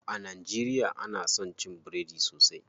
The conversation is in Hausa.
A najeriya ana son cin biredi sosai.